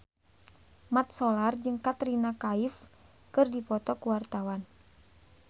Mat Solar jeung Katrina Kaif keur dipoto ku wartawan